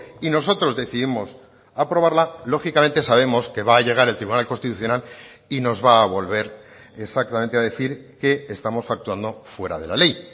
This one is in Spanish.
y nosotros decidimos aprobarla lógicamente sabemos que va a llegar el tribunal constitucional y nos va a volver exactamente a decir que estamos actuando fuera de la ley